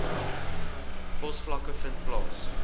posvlakke vind plaas